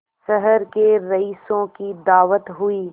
शहर के रईसों की दावत हुई